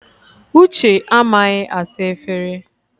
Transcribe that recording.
Uche amaghị asa efere.